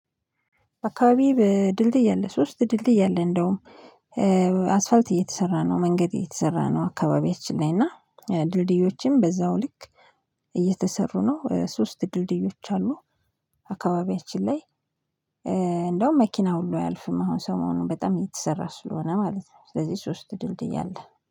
አካባቢ በድልድይ አለ ሶስት ድልድይ አለ እንደውም አስፋልት እየተሰራ ነው መንገድ እየተሰራ ነው። አካባቢያችን ላይ እና ድልድዮችም በዛው ልክ እየተሰሩ ነው ሶስት ድልድዮች አሉ። አካባቢያችን ላይ እንደውም መኪና ሁሉ አያልፍም አሁን ሰሞኑን በጣም እየተሰራ ስለሆነ ማለት ነው። ስለዚህ ሶስት ድልድይ አለ